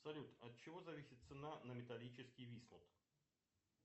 салют от чего зависит цена на металлический висмут